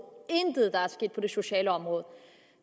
intet er sket på det sociale område